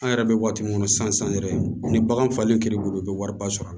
An yɛrɛ bɛ waati min kɔnɔ sisan yɛrɛ ni bagan falen kɛr'i bolo i bɛ wariba sɔrɔ a